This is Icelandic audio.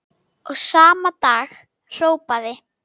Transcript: Og sama dag hrópaði